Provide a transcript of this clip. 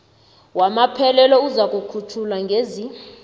wamaphelelo uzakukhutjhwa ngezi